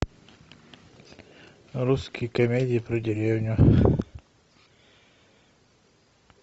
русские комедии про деревню